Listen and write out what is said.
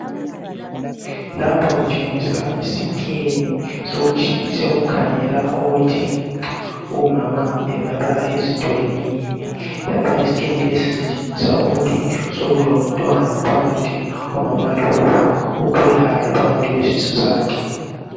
lapha kutshengisa isi scan sokukhangela ukuthi umama engaba ezithwele yini lapha iscan lesi sitshengisa ukuthi sokulomntwana phakathi kwamama lowu okhulayo phakathi kwesisu sakhe